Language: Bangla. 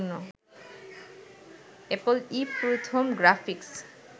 এপল ই প্রথম গ্রাফিক্স